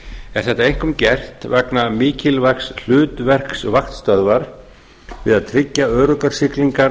er þetta einkum gert vegna mikilvægs hlutverks vaktstöðvar við að tryggja öruggar siglingar